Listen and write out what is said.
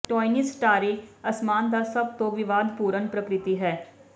ਟੌਇਨਜ਼ ਸਟਾਰਿਅ ਅਸਮਾਨ ਦਾ ਸਭ ਤੋਂ ਵਿਵਾਦਪੂਰਨ ਪ੍ਰਕਿਰਤੀ ਹੈ